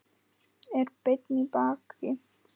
Er beinn í baki.